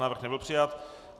Návrh nebyl přijat.